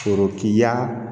Forotigiya